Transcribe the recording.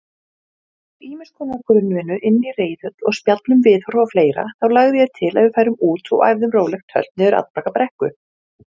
hið síðara skýrist meðal annars af því hve hægt hlaupið óx